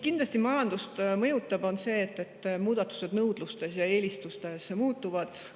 Kindlasti mõjutavad majandust muudatused nõudluses ja eelistustes.